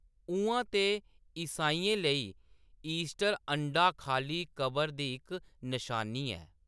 उʼआं ते, ईसाइयें लेई, ईस्टर अंडा खाल्ली कबर दी इक नशानी ऐ।